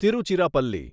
Tiruchirappalli